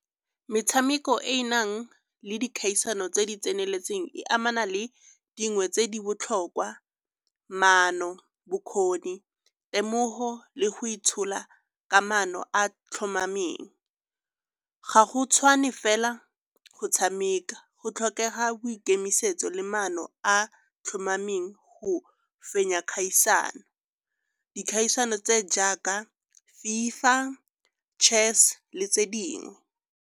Metshameko e e nang le dikgaisano tse di tseneletseng e amana le dingwe tse di botlhokwa, maano, bokgoni, temogo le go itshola ka maano a tlhomameng. Ga go tshwane fela go tshameka, go tlhokega boikemisetso le maano a tlhomameng go fenya kgaisano. Dikgaisano tse jaaka FIFA, chess le tse dingwe.